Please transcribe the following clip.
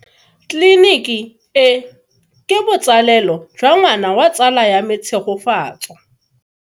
Tleliniki e, ke botsaleo jwa ngwana wa tsala ya me Tshegofatso.